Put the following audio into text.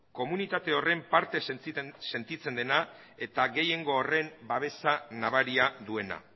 komunitate horren parte sentitzen dena eta gehiengo horren babesa nabaria duena